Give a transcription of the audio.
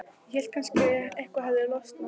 Ég hélt að kannski hefði eitthvað losnað.